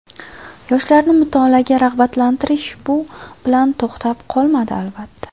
Yoshlarni mutolaaga rag‘batlantirish bu bilan to‘xtab qolmadi, albatta.